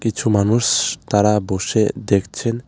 কিছু মানুষ তারা বসে দেখছেন।